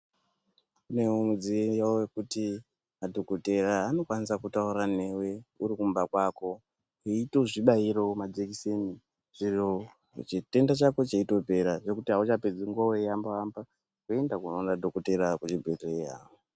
Kunewo mudziyo wekuti madhokodheya anokwanisa kutaura newe urikumba kwako, weitozvibayirawo majekiseni zviro chitenda chako cheitopera, zvekuti auchatopedzi nguwa weihamba-hamba, weienda koona dhokothera kuchibhedhleya.